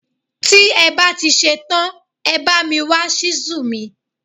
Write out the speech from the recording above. Tí ẹ bá ti ṣe tán, ẹ bá mi wá Ṣísù mi.